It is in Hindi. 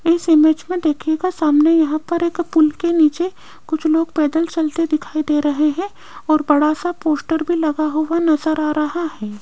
इस इमेज में देखिएगा का सामने यहां पर एक पुल के नीचे कुछ लोग पैदल चलते दिखाई दे रहे हैं और बड़ा सा पोस्टर भी लगा हुआ नजर आ रहा है।